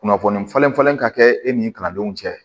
Kunnafoni falenfalen ka kɛ e ni kalandenw cɛ